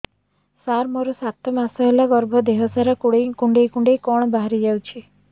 ସାର ମୋର ସାତ ମାସ ହେଲା ଗର୍ଭ ଦେହ ସାରା କୁଂଡେଇ କୁଂଡେଇ କଣ ବାହାରି ଯାଉଛି